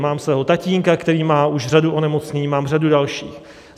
Mám svého tatínka, který má už řadu onemocnění, mám řadu dalších.